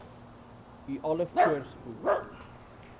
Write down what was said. u alle voorspoed